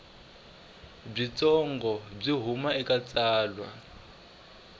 byitsongo byo huma eka tsalwa